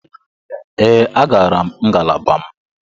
Ee, agara m ngalaba m.